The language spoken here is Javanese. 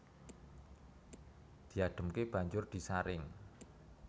Diadhemke banjur disaring